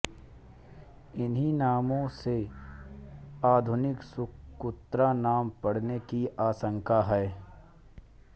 इन्हीं नामों से आधुनिक सुक़ुत्रा नाम पड़ने की आशंका है